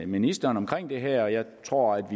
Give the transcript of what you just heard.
ministeren omkring det her og jeg tror